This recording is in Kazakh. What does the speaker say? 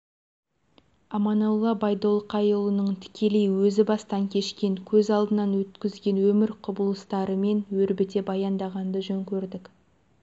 аманолла ғабдолқайұлының тікелей өзі бастан кешкен көз алдынан өткізген өмір құбылыстарымен өрбіте баяндағанды жөн көрдік